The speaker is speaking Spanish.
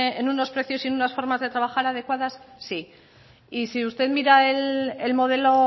en unos precios y en unas formas de trabajar adecuadas sí y si usted mira el modelo